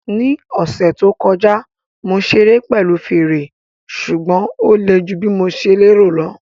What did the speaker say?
Ní ọ̀sẹ̀ tó kọjá, mo ṣeré pẹ̀lú fèrè, ṣùgbọ́n ó le ju bí mo ṣe lérò